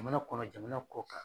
Jamana kɔnɔ jamana kɔ kan.